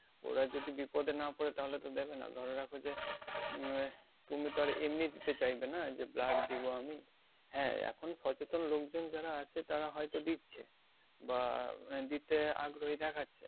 ওরা যদি বিপদে না পড়ে তাহলে তো দেবে না ধরে রাখো যে উম আহ তুমি তো আর এমনি দিতে চাইবে না যে blood দেবো আমি হ্যাঁ, এখন সচেতন লোকজন যারা আছে তারা হয়তো দিচ্ছে বা আহ দিতে আগ্রহী দেখাচ্ছে